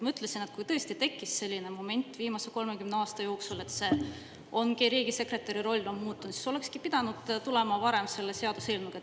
Ma ütlesin, et kui tõesti tekkis selline moment viimase 30 aasta jooksul, et ongi riigisekretäri roll muutunud, siis olekski pidanud tulema varem selle seaduseelnõuga.